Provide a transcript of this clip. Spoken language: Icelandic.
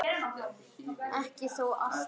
Ekki þó alltaf.